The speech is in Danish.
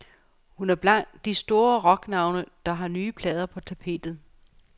Hun er blandt de store rocknavne, der har nye plader på tapetet.